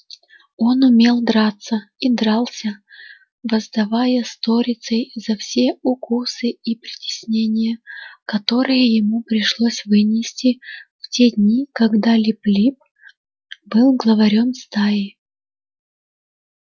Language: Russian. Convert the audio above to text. он умел драться и дрался воздавая сторицей за все укусы и притеснения которые ему пришлось вынести в те дни когда лип лип был главарём стаи